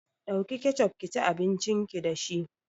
Ɗauki kecof kici abincin ki dashi